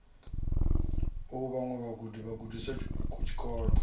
a vhaṅwe vhagudi vhagudisi tshikolo